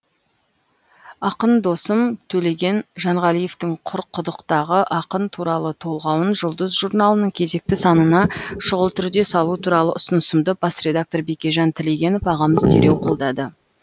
ақын досым төлеген жанғалиевтің құр құдықтағы ақын туралы толғауын жұлдыз журналының кезекті санына шұғыл түрде салу туралы ұсынысымды бас редактор бекежан тілегенов ағамыз дереу қолдады